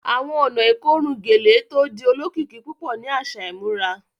Awọn ọ̀nà ikorùn gẹ̀lẹ̀ tó dì òlòkikì púpọ̀ ni aṣa ìmúrà